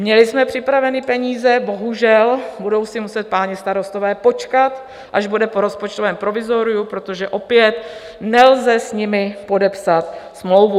Měli jsme připravené peníze - bohužel, budou si muset páni starostové počkat, až bude po rozpočtovém provizoriu, protože opět nelze s nimi podepsat smlouvu.